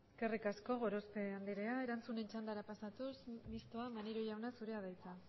eskerrik asko gorospe andrea erantzunen txandara pasatuz mistoa maneiro jauna zurea da hitza